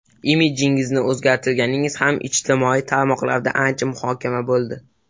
Imidjingizni o‘zgartirganingiz ham ijtimoiy tarmoqlarda ancha muhokama bo‘ldi.